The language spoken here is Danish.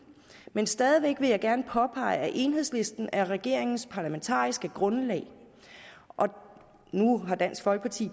men stadig væk vil jeg gerne påpege at enhedslisten er regeringens parlamentariske grundlag nu har dansk folkeparti